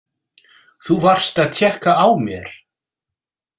Þú varst að tékka á mér!